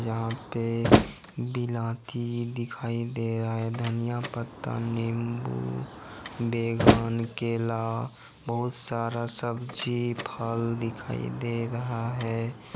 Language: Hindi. यहां पे बिलाती दिखाई दे रहा है धनिया पत्ता नींबू बैंगन केला बहुत सारा सब्जी फल दिखाई दे रहा है।